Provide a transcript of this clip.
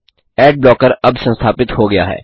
add blocker अब संस्थापित हो गया है